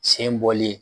Sen bɔli